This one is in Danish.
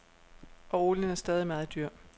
Og olien er stadig meget dyr.